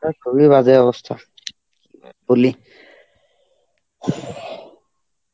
ঠান্ডার খুবই বাজে অবস্থা.